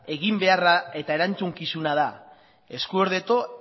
eginbeharra eta erantzukizuna da